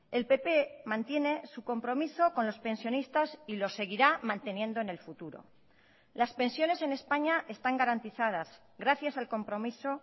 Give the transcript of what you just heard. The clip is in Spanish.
el pp mantiene su compromiso con los pensionistas y lo seguirá manteniendo en el futuro las pensiones en españa están garantizadas gracias al compromiso